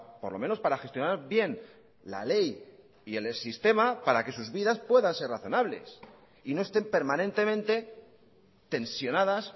por lo menos para gestionar bien la ley y el sistema para que sus vidas puedan ser razonables y no estén permanentemente tensionadas